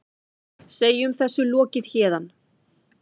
Segjum þessu lokið héðan.